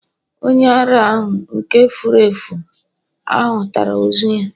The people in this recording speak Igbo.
onye ara ahu, nke furu efu, ahutara ozu ya